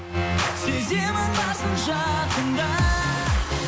сеземін барсың жанымда